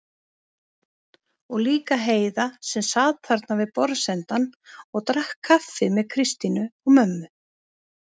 Og líka Heiða sem sat þarna við borðsendann og drakk kaffi með Kristínu og mömmu.